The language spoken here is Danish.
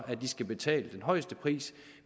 at de skal betale den højeste pris